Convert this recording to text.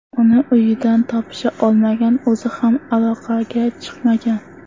Uni uyidan topisha olmagan, o‘zi ham aloqaga chiqmagan.